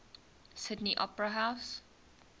sydney opera house